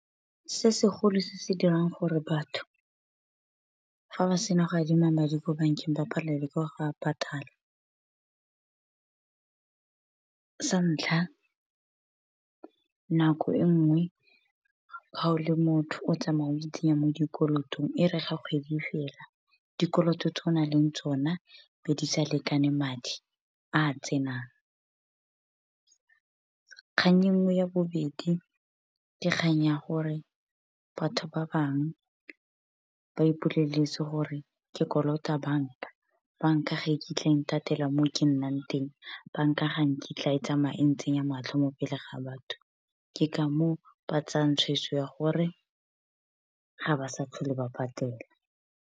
Se segolo se se dirang gore batho fa ba sena go adima madi ko bankeng, ba palelwe ke go a patala. Santlha nako enngwe ha o le motho, o tsamaya o itsenya mo dikolotong e re ga kgwedi fela, dikoloto tse o nang le tsona be di sa lekane madi a tsenang. Kgang e nngwe ya bobedi ke kgang ya gore, batho ba bangwe ba ipoleletse gore ke kolota banka. Banka ga iketle e nthatela mo ke nnang teng, banka ga kitla e tsamaye ntsenya matlho mo pele ga batho. Ke ka moo ba tsayang tshwetso ya gore ga ba sa tlhole ba patela.